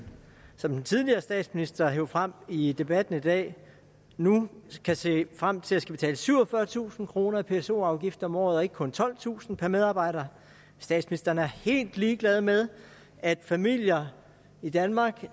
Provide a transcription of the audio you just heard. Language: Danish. som den tidligere statsminister hev frem i debatten i dag nu kan se frem til at skulle betale syvogfyrretusind kroner i pso afgift om året og ikke kun tolvtusind kroner per medarbejder statsministeren er helt ligeglad med at familier i danmark